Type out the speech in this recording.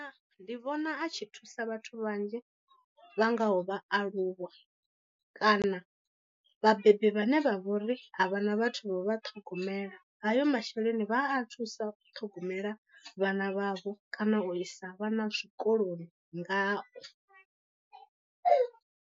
Ndi vhona a tshi thusa vhathu vhanzhi vha ngaho vhaaluwa, kana vhabebi vhane vha vha uri ha vhana vhathu vha ṱhogomela. Hayo masheleni vha a thusa u ṱhogomela vhana vhavho kana u isa vhana zwikoloni ngao.